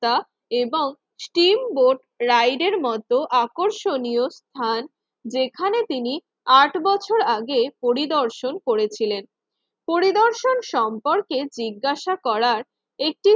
এবং steam boat ride এর মত আকর্ষণীয় স্থান যেখানে তিনি আট বছর আগে পরিদর্শন করেছিলেন। পরিদর্শন সম্পর্কে জিজ্ঞাসা করার একটি